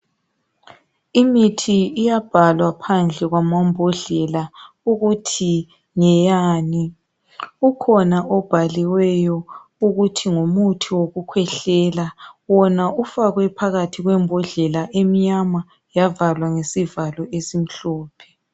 Imithi iyabhalwa phandle kwamambodlela ukuthi ngeyani ukhona obhaliweyo ukuthi ngumuthi wokukwehlela wena ufakwe phakathi kwembodlela emnyama eyavalwa ngesivalo esimhlophe.